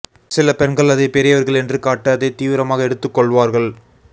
சில பெண்கள் அதை பெரியவர்கள் என்று காட்ட அதை தீவிரமாக எடுத்துக் கொள்வார்கள்